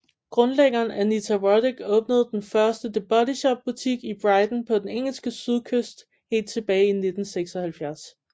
Grundlæggeren Anita Roddick åbnede den første The Body Shop butik i Brighton på den engelske sydkyst helt tilbage i 1976